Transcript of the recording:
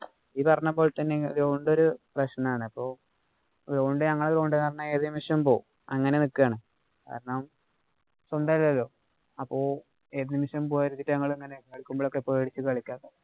നീ പറഞ്ഞ പോലെ തന്നെ ground ഒരു പ്രശ്നാണ്. ഞങ്ങടെ ground എന്ന് പറഞ്ഞാ ഏതു നിമിഷവും പോവും അങ്ങനെ നിക്കുവാണ്. കാരണം, സ്വന്തമല്ലല്ലോ. അപ്പൊ ഏതു നിമിഷവും പോവാതിരിക്കാന്‍ ഞങ്ങള് ഇങ്ങനെ കളിക്കുമ്പോഴോക്കെ പേടിച്ചു കളിക്കുവാണ്.